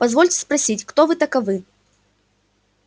позвольте спросить кто вы таковы